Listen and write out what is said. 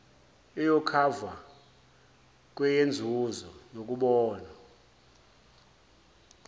iyokhavwa kweyenzuzo yokubona